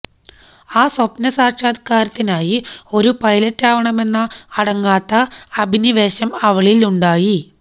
ആ സ്വപ്ന സാക്ഷാത്ക്കാരത്തിനായി ഒരു പൈലറ്റാവണമെന്ന അടങ്ങാത്ത അഭിനിവേശം അവളിൽ ഉണ്ടായി